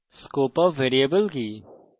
scope of variable কি